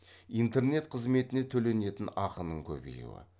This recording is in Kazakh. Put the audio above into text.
интернет қызметіне төленетін ақының көбеюі